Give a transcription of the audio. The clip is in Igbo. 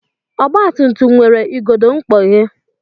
Ọgbatumtum nwere igodo mkpọghe